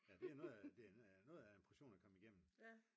ja det er noget af det er noget af en portion at komme igennem